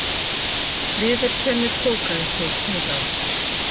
Viðurkennir kókaínsmygl hingað